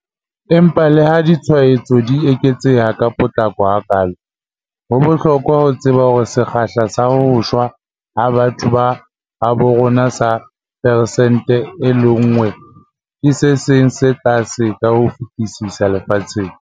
Empa leha ditshwaetso di eketseha ka potlako hakaalo, ho bohlokwa ho tseba hore sekgahla sa ho shwa ha batho ba habo rona sa peresente 1.5 ke se seng sa tse tlase ka ho fetisisa lefatsheng.